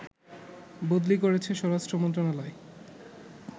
বদলি করেছে স্বরাষ্ট্র মন্ত্রণালয়